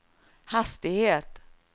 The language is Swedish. hastighet